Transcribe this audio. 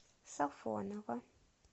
сафоново